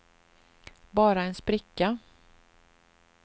bara en spricka